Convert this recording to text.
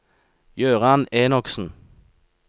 Jøran Enoksen